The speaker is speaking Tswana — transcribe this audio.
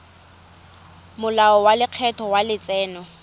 molao wa lekgetho wa letseno